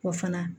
O fana